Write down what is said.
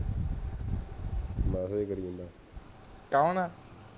ਕੌਣ